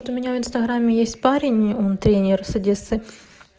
у меня в инстаграме есть парень он тренер с одессы